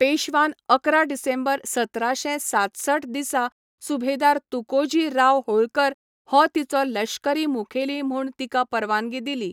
पेश्वान अकरा डिसेंबर सतराशे सातसठ दिसा सुभेदार तुकोजी राव होळकर हो तिचो लश्करी मुखेली म्हूण तिका परवानगी दिली.